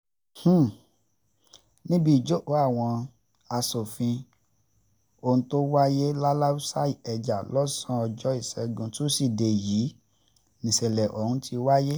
níbi ìjókòó àwọn um aṣòfin ọ̀hún tó wáyé laláùsa ìkẹjà lọ́sàn-án ọjọ́ ìṣẹ́gun túṣídéé yìí nìṣẹ̀lẹ̀ um ọ̀hún ti wáyé